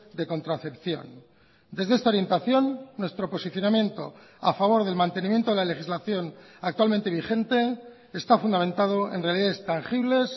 de contracepción desde esta orientación nuestro posicionamiento a favor del mantenimiento de la legislación actualmente vigente está fundamentado en realidades tangibles